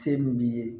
Se min b'i ye